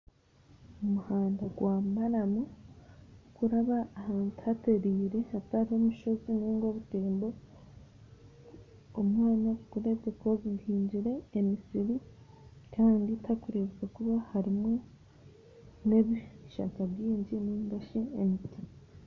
Omuhanda gwa maramu gukuraba ahantu haterire hatariho mushozi ninga obutembo, omwanya gukureebeka ogu guhingire emisiri kandi tihakureebeka kuba harimu n'ebishaka bingi ningashi emiti.